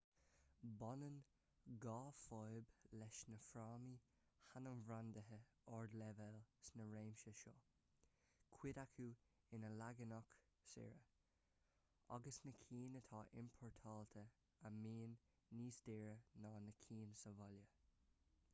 baineann dhá fhadhb leis na frámaí hainmbhrandaithe ardleibhéal sna réimsí seo cuid acu ina leaganacha saora agus na cinn atá iompórtáilte a bhíonn níos daora ná na cinn sa bhaile